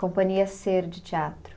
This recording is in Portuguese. Companhia Ser de Teatro.